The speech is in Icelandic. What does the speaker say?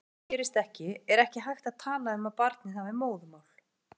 Ef það gerist ekki er ekki hægt að tala um að barnið hafi móðurmál.